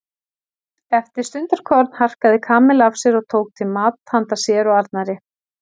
Eftir stundarkorn harkaði Kamilla af sér og tók til mat handa sér og Arnari.